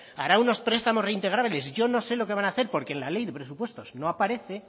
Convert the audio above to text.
hará unos prestamos reintegrables y yo no sé lo que van a hacer porque en la ley de presupuestos no aparece